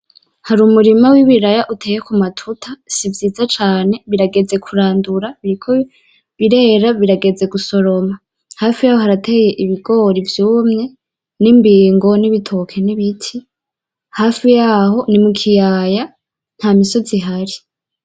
Harumurima wibiraya uteye kumatuta sivyiza cane birageze kurandura, biriko birera birageze gusoromwa hafi yaho harateye ibigori vyumye nimbigo nibitoki nibiti. hafi yaho nimukiyaya ntamisozi ihari.